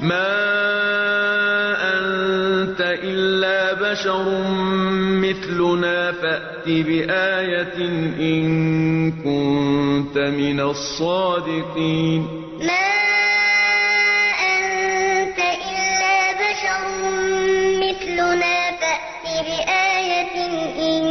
مَا أَنتَ إِلَّا بَشَرٌ مِّثْلُنَا فَأْتِ بِآيَةٍ إِن كُنتَ مِنَ الصَّادِقِينَ مَا أَنتَ إِلَّا بَشَرٌ مِّثْلُنَا فَأْتِ بِآيَةٍ إِن